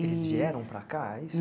Eles vieram para cá é isso?